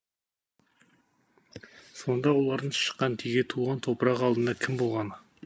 сонда олардың шыққан тегі туған топырағы алдында кім болғаны